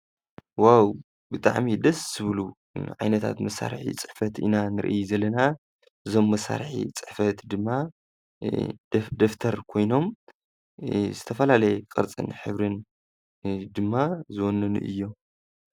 ዋው! ብጣዕሚ ደስ ዝብሉ ዓይነታት መሳርሒ ፅሕፈት ኢና ንርኢ ዘለና እዞም መሳርሒ ፅሕፈት ድማ ደፍተር ኮይኖም ዝተፈላለየ ቅርፅን ሕብርን ድማ ዝወነኑ እዮም።